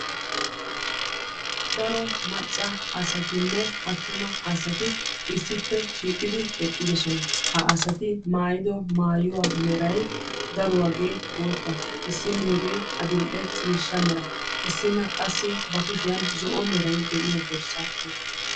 daro macca asatinne atumma asati issippe shiiqidi eqqidosona.ha asati maaayido maayuwa meray daruwaagee boota. issiniigee adil'e ciishasha mera. issinna qassi ba kushiyan zo'o meray diyo borsaa oyqaasu.